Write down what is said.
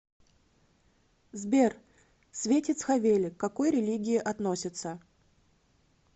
сбер светицховели к какой религии относится